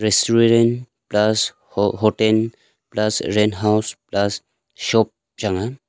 storerent plus ho hotel plus rent house plus shop chang a.